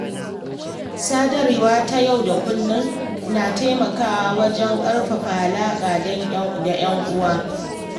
Sadarwa ta yau da kullum na taimakawa wajen ƙarfafa alaƙa da ‘yan uwa.